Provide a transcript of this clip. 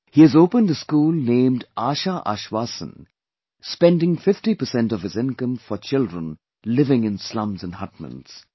He has opened a school named 'Asha Ashvaasan', spending 50% of his incomefor children living in slums and hutments